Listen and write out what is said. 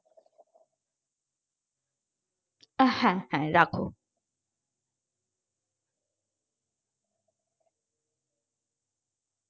হ্যাঁ হ্যাঁ রাখো।